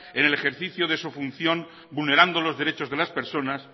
en el ejercicio de su función vulnerando los derechos de las personas